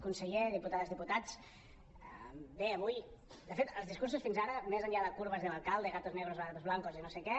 conseller diputades diputats bé avui de fet els discursos fins ara més enllà de curvas del alcalde gatos negros o gatos blancos i no sé què